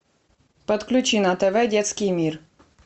подключи на тв детский мир